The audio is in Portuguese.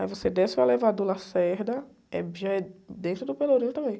Aí você desce o elevador Lacerda, é, já é dentro do Pelourinho também.